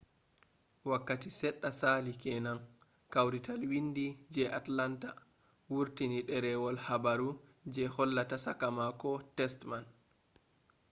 wakkati seɗɗa saali kenan kawrital windi je atlanta wurtini ɗerwol habaru je hollata saka mako test man